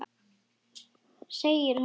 Segir hann.